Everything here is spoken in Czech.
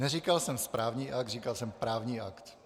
Neříkal jsem správní akt, říkal jsem právní akt.